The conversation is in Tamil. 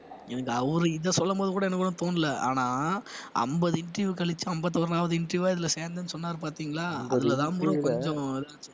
எனக்கு அவரு இதை சொல்லும் போது கூட எனக்கு ஒண்ணும் தோணல ஆனா ஐம்பது interview கழிச்சு ஐம்பத்தி ஒண்ணாவது interview ஆ இதுல சேர்ந்தேன்னு சொன்னாரு பாத்தீங்களா அதுலதான் bro கொஞ்சம்